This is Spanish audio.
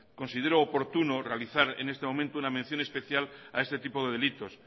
considero oportuno realizar en este momento una mención especial a este tipo de delitos